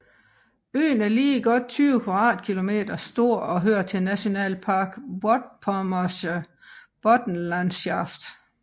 Øen er lige godt 20 kvadratkilometer stor og hører til Nationalpark Vorpommersche Boddenlandschaft